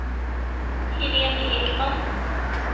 Helene Ekman